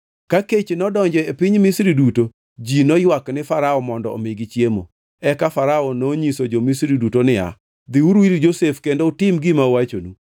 Ka kech nodonjo e piny Misri duto, ji noywak ne Farao mondo omigi chiemo. Eka Farao nonyiso jo-Misri duto niya, “Dhiuru ir Josef kendo utim gima owachonu.”